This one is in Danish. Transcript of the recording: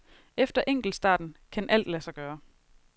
Efter enkeltstarten kan alt lade sig gøre.